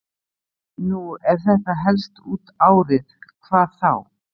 Nú ef þetta helst út árið, hvað þá?